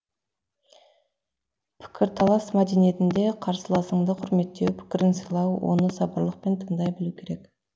пікірталас мәдениетінде қарсыласыңды құрметтеу пікірін сыйлау оны сабырлықпен тыңдай білу керек